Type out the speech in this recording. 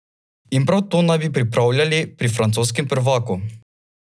In prav to naj bi pripravljali pri francoskem prvaku.